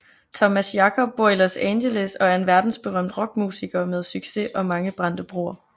Thomas Jacob bor i Los Angeles og er en verdensberømt rockmusiker med succes og mange brændte broer